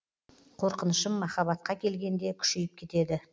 қорқынышым махаббатқа келгенде күшейіп кетеді